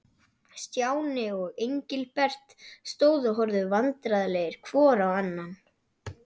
Stjáni og Engilbert stóðu og horfðu vandræðalegir hvor á annan.